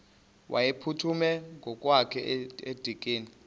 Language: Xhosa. wayeziphuthume ngokwakhe edikeni